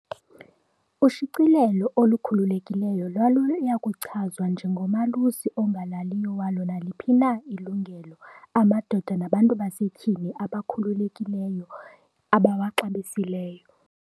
Ushicilelo olukhululekileyo lwalusakuchazwa 'nje ngomalusi ongalaliyo walo naliphi na ilungelo amadoda nabantu basetyhini abakhululekileyo abawaxabisileyo.'